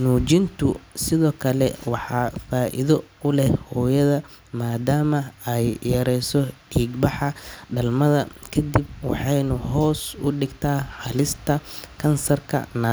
Nuujintu sidoo kale waa faa’iido u leh hooyada, maadaama ay yareyso dhiig-baxa dhalmada kadib waxayna hoos u dhigtaa halista kansarka naa.